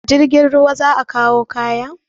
A jirgin ruwa za a kawo kayan?